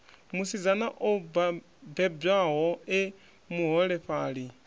musidzana o bebwaho e muholefhali